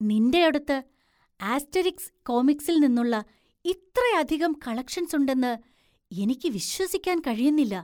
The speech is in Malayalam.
നിൻ്റെയടുത്ത് ആസ്റ്റെരിക്സ് കോമിക്സില്‍ നിന്നുള്ള ഇത്രയധികം കളക്ഷൻസ് ഉണ്ടെന്ന് എനിക്ക് വിശ്വസിക്കാൻ കഴിയുന്നില്ല.